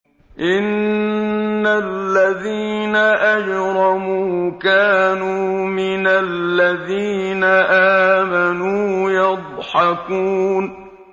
إِنَّ الَّذِينَ أَجْرَمُوا كَانُوا مِنَ الَّذِينَ آمَنُوا يَضْحَكُونَ